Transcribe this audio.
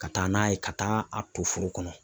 Ka taa n'a ye ka taa a to foro kɔnɔ.